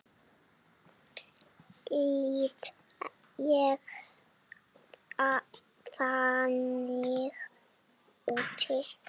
Lít ég þannig út?